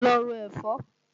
Lọ ro ẹ̀fọ́!